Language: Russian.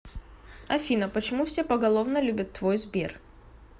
афина почему все поголовно любят твой сбер